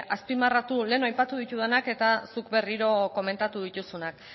azpimarratu lehen aipatu ditudanak eta zuk berriro komentatu dituzunak